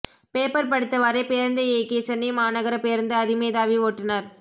paper படித்தவாரே பேருந்தை இயக்கிய சென்னை மாநகர பேருந்து அதிமேதாவி ஓட்டுநர்